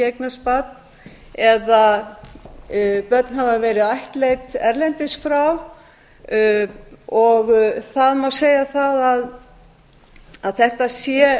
eignast barn eða að börn hafa leið ættleidd erlendis frá og það má segja það að þetta sé